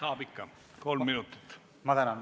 Saab ikka, kolm minutit.